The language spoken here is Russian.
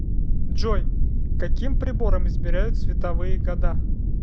джой каким прибором измеряют световые года